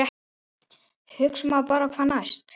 Maður hugsar bara hvað næst?